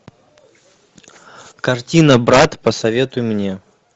картина брат посоветуй мне